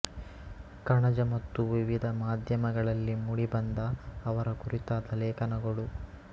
ಕಣಜ ಮತ್ತು ವಿವಿಧ ಮಾಧ್ಯಮಗಳಲ್ಲಿ ಮೂಡಿಬಂದ ಅವರ ಕುರಿತಾದ ಲೇಖನಗಳು